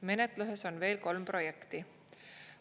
Menetluses on veel kolm projekti.